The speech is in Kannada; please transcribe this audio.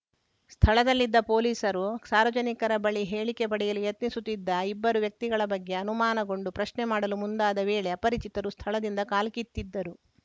ಸ್ಥಳದಲ್ಲಿದ್ದ ಪೊಲೀಸರು ಸಾರ್ವಜನಿಕರ ಬಳಿ ಹೇಳಿಕೆ ಪಡೆಯಲು ಯತ್ನಿಸುತ್ತಿದ್ದ ಇಬ್ಬರು ವ್ಯಕ್ತಿಗಳ ಬಗ್ಗೆ ಅನುಮಾನಗೊಂಡು ಪ್ರಶ್ನೆ ಮಾಡಲು ಮುಂದಾದ ವೇಳೆ ಅಪರಿಚಿತರು ಸ್ಥಳದಿಂದ ಕಾಲ್ಕಿತ್ತಿದ್ದರು